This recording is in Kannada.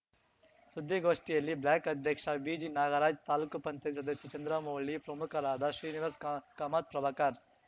ಸುದ್ದಿಗೋಷ್ಠಿಯಲ್ಲಿ ಬ್ಲಾಕ್‌ ಅಧ್ಯಕ್ಷ ಬಿಜಿನಾಗರಾಜ್ ತಾಲೂಕು ಪಂಚಾಯತ್ ಸದಸ್ಯ ಚಂದ್ರಮೌಳಿ ಪ್ರಮುಖರಾದ ಶ್ರೀನಿವಾಸ್ ಕಾ ಕಾಮತ್‌ ಪ್ರಭಾಕರ್